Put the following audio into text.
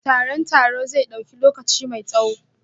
Taron taro zai dauki lokaci mai tsawo?